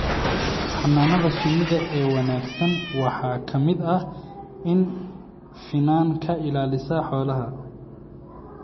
Xannaanada shinnida ee wanaagsan waxaa ka mid ah in finan ka ilaalisa xoolaha.